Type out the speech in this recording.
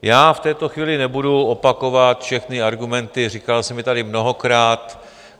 Já v této chvíli nebudu opakovat všechny argumenty, říkal jsem je tady mnohokrát.